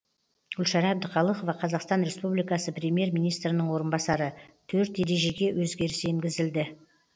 гүлшара әбдіқалықова қазақстан республикасы премьер министрінің орынбасары төрт ережеге өзгеріс енгізілді